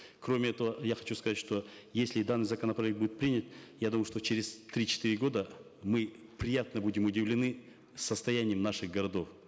кроме этого я хочу сказать что если данный законопроект будет принят я думаю что через три четыре года мы приятно будем удивлены состоянием наших городов